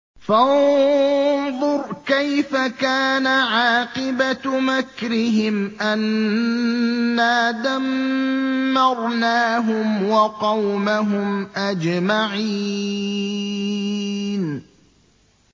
فَانظُرْ كَيْفَ كَانَ عَاقِبَةُ مَكْرِهِمْ أَنَّا دَمَّرْنَاهُمْ وَقَوْمَهُمْ أَجْمَعِينَ